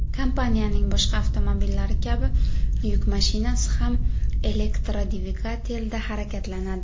Kompaniyaning boshqa avtomobillari kabi yuk mashinasi ham elektrodvigatelda harakatlanadi.